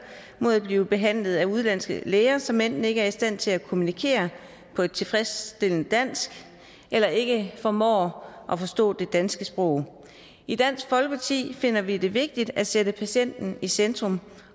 mod at blive behandlet af udenlandske læger som enten ikke er i stand til at kommunikere på et tilfredsstillende dansk eller ikke formår at forstå det danske sprog i dansk folkeparti finder vi det vigtigt at sætte patienten i centrum